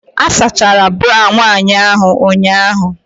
A sachara bra nwanyị ahụ ụnyahụ.